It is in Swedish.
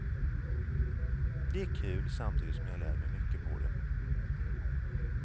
Det är kul samtidigt som jag lär mig mycket på det.